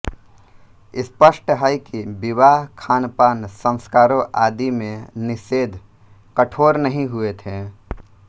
स्पष्ट है कि विवाह खानपान संस्कारों आदि में निषेध कठोर नहीं हुए थे